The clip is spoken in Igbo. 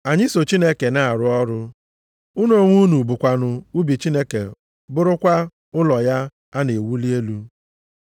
Anyị so Chineke na-arụ ọrụ. Unu onwe unu bụkwanụ ubi Chineke bụrụkwa ụlọ ya a na-ewuli elu.